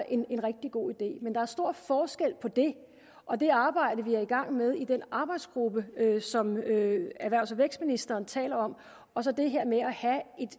en rigtig god idé men der er stor forskel på det og det arbejde vi er i gang med i den arbejdsgruppe som erhvervs og vækstministeren taler om og så det her med at have